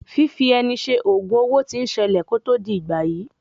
Fífi ẹni ṣe ògùn owo tí ń ṣẹlẹ̀ kó tó di ìgbàyí.